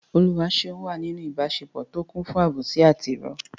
Oluwaseun wà nínú ìbáṣepọ̀ tó kún fún àbòsí àti ìrọ́.